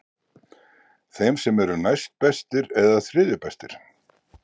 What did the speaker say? Þeim sem eru næstbestir eða þriðju bestir?